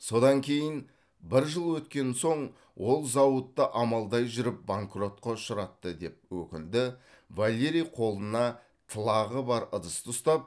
содан кейін бір жыл өткен соң ол зауытты амалдай жүріп банкротқа ұшыратты деп өкінді валерий қолына тылағы бар ыдысты ұстап